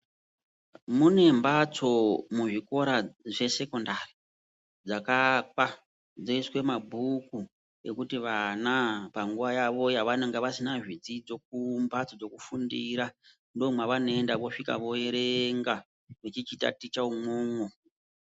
Mune mhatso muzvikora zvesekondari dzakaakwa dzinoiswe mabhuku ekuti vana panguva yavo pavanenge vasina zvidzidzo mumhasto dzekufundira ndomwavanoenda vosvika voerenga veichitaticha umwomwo.